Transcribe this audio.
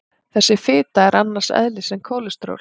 Þessi fita er annars eðlis en kólesteról.